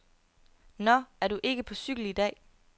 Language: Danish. Nå, er du ikke på cykel i dag.